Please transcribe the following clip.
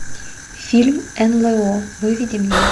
фильм нло выведи мне